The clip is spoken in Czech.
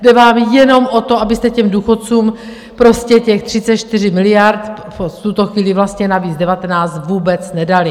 Jde vám jenom o to, abyste těm důchodcům prostě těch 34 miliard, v tuto chvíli vlastně navíc 19, vůbec nedali.